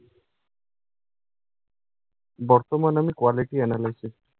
বর্তমানে আমি quality analysis